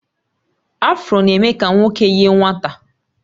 Afro na-eme ka nwoke yie nwata